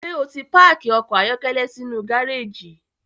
Ṣe oti paaki ọkọ ayọkẹlẹ sinu gareji?